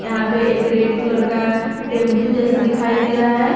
यहाँ पे एक रेड कलर का टेंपू जैसा दिखाई दे रहा है।